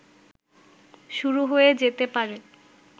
শুরু হয়ে যেতে পারে